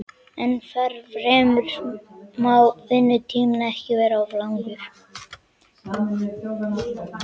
Ennfremur má vinnutíminn ekki vera of langur.